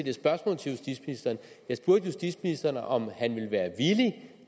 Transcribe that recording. et spørgsmål til justitsministeren jeg spurgte justitsministeren om han ville være villig